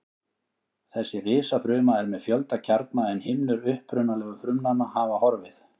Þessi risafruma er með fjölda kjarna en himnur upprunalegu frumnanna hafa horfið.